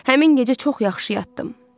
Həmin gecə çox yaxşı yatdım.